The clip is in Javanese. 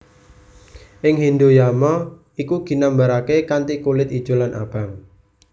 Ing Hindhu Yama iku ginambaraké kanthi kulit ijo lan abang